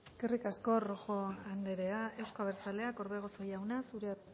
eskerrik asko rojo andrea euzko abertzaleak orbegozo jauna zurea